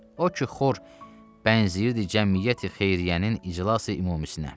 O ki xor bənzəyirdi cəmiyyəti xeyriyyənin iclası umumisinə.